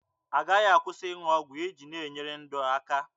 Agaghị akwụsị ịṅụ ọgwụ iji na-enyere ndụ aka.